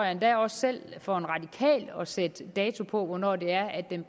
endda også selv for en radikal tror jeg at sætte dato på hvornår det er at den